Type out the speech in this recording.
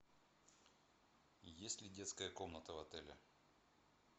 есть ли детская комната в отеле